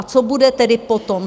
A co bude tedy potom?